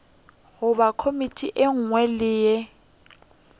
goba komiti ye nngwe le